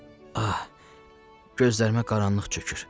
Ah, gözlərimə qaranlıq çökür.